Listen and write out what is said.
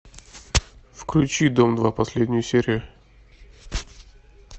включи дом два последнюю серию